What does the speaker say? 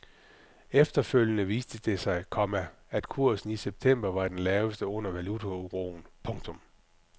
Efterfølgende viste det sig, komma at kursen i september var den laveste under valutauroen. punktum